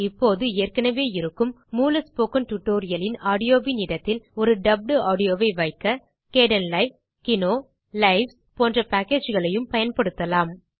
இப்போது ஏற்கெனவே இருக்கும் மூல ஸ்போக்கன் டியூட்டோரியல் ன் ஆடியோவின் இடத்தில் ஒரு டப்ட் ஆடியோ வை வைக்க கேடன்லைவ் கினோ லைவ்ஸ் போன்ற packageகளையும் பயன்படுத்தலாம்